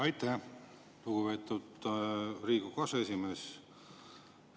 Aitäh, lugupeetud Riigikogu aseesimees!